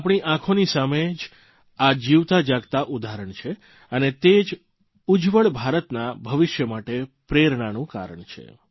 આપણી આંખોની સામે જ આ જીવતા જાગતા ઉદાહરણ છે અને તે જ ઉજ્જવળ ભારતના ભવિષ્ય માટે પ્રેરણાનું કારણ છે